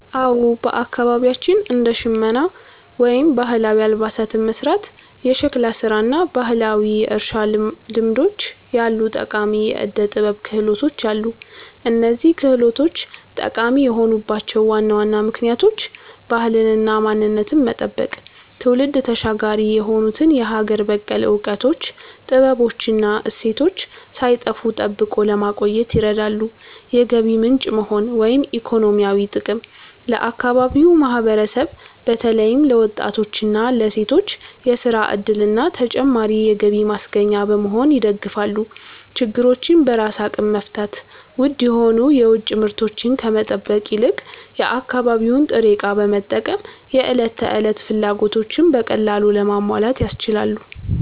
አዎ፣ በአካባቢያችን እንደ ሸመና (ባህላዊ አልባሳትን መሥራት)፣ የሸክላ ሥራ እና ባህላዊ የእርሻ ልምዶች ያሉ ጠቃሚ የዕደ-ጥበብ ክህሎቶች አሉ። እነዚህ ክህሎቶች ጠቃሚ የሆኑባቸው ዋና ዋና ምክንያቶች፦ ባህልንና ማንነትን መጠበቅ፦ ትውልድ ተሻጋሪ የሆኑትን የሀገር በቀል እውቀቶች፣ ጥበቦች እና እሴቶች ሳይጠፉ ጠብቆ ለማቆየት ይረዳሉ። የገቢ ምንጭ መሆን (ኢኮኖሚያዊ ጥቅም)፦ ለአካባቢው ማህበረሰብ በተለይም ለወጣቶችና ለሴቶች የሥራ ዕድልና ተጨማሪ የገቢ ማስገኛ በመሆን ይደግፋሉ። ችግሮችን በራስ አቅም መፍታት፦ ውድ የሆኑ የውጭ ምርቶችን ከመጠበቅ ይልቅ የአካባቢውን ጥሬ ዕቃ በመጠቀም የዕለት ተዕለት ፍላጎቶችን በቀላሉ ለማሟላት ያስችላሉ።